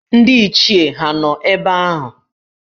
Ndị Ichie hà nọ ebe ahụ?